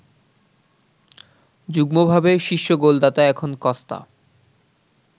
যুগ্মভাবে শীর্ষ গোলদাতা এখন কস্তা